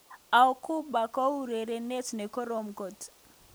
Auba ko urenenindet nekorom kot.